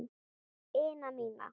ina mína.